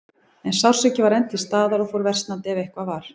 En sársaukinn var enn til staðar og fór versnandi, ef eitthvað var.